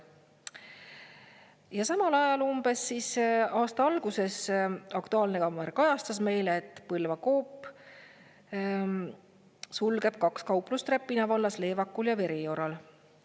Ja samal ajal, umbes aasta alguses "Aktuaalne kaamera" kajastas meile, et Põlva Coop sulgeb kaks kauplust Räpina vallas Leevakul ja Verioral.